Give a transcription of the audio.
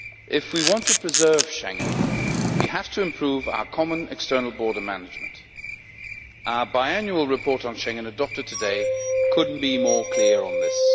If we want to preserve Schengen, we have to improve our common external border management. Our biannual report on Schengen adopted today could not be clearer on this.